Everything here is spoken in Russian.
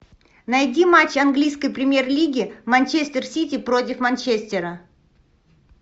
найди матч английской премьер лиги манчестер сити против манчестера